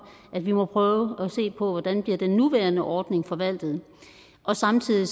at vi må prøve at se på hvordan den nuværende ordning bliver forvaltet og samtidig